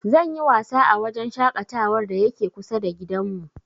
Zan yi wasa a wajen shaƙatawar da yake kusa da gidanmu.